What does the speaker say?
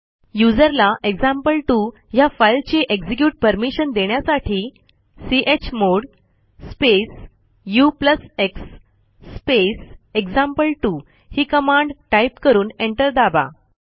user ला example two ह्या फाईलची एक्झिक्युट परमिशन देण्यासाठी chmod space ux space example two ही कमांड टाईप करून एंटर दाबा